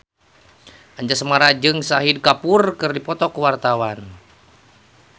Anjasmara jeung Shahid Kapoor keur dipoto ku wartawan